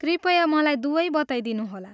कृपया मलाई दुवै बताइदिनुहोला।